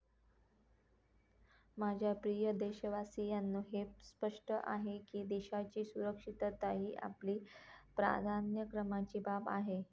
माझ्या प्रिय देशवासीयांनो हे स्पष्ट आहे की देशाची सुरक्षितता ही आपली प्राधान्यक्रमाची बाब आहे.